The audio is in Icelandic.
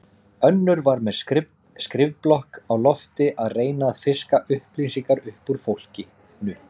Önnur var með skrifblokk á lofti að reyna að fiska upplýsingar upp úr fólkinu.